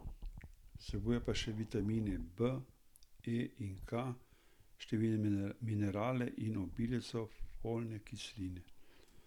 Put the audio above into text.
Vsebuje pa še vitamine B, E in K, številne minerale in obilico folne kisline.